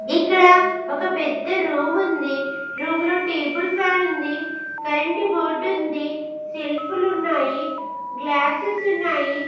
ఇక్కడ ఒక పెద్ద రూమ్ ఉంది రూమ్ లో టేబుల్ ఫ్యాన్ ఉంది కరెంట్ బోర్డ్ ఉంది సెల్ఫ్ లు ఉన్నాయి గ్లాసెస్ ఉన్నాయి.